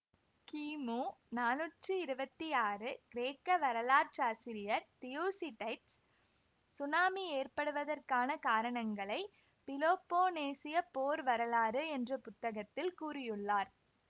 கிமு நானூற்றி இருவத்தி ஆறு கிரேக்க வரலாற்றாசிரியர் தியுசிடைட்ஸ் சுனாமி ஏற்படுவதற்கான காரணங்களை பிலோப்போனேசியப் போர் வரலாறு என்ற புத்தகத்தில் கூறியுள்ளார்